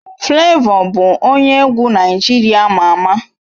Flavor bụ onye egwu Naịjirịa ama ama